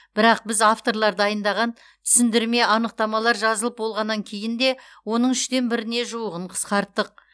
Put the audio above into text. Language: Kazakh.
бірақ біз авторлар дайындаған түсіндірме анықтамалар жазылып болғаннан кейін де оның үштен біріне жуығын қысқарттық